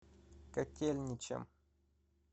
котельничем